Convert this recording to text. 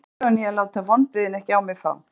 Ég var staðráðinn í að láta vonbrigðin ekki á mig fá.